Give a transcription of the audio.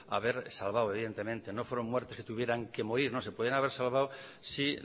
haber salvado evidentemente no fueron muertes que tuvieran que morir no se podían haber salvado si